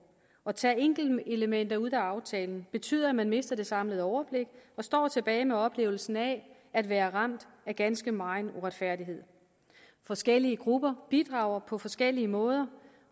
at tage enkelte elementer ud af aftalen betyder at man mister det samlede overblik og står tilbage med oplevelsen af at være ramt af ganske megen uretfærdighed forskellige grupper bidrager på forskellige måder